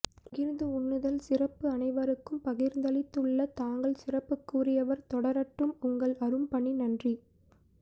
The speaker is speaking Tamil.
பகிர்ந்து உண்ணுதல் சிறப்பு அனைவருக்கும் பகிர்ந்தளித்துள்ள தாங்கள் சிறப்புக்குரியவர் தொடரட்டும் உங்கள் அரும் பணி நன்றி